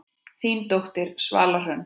Þín dóttir, Svala Hrönn.